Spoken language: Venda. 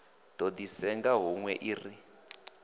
do di senga hunwe ri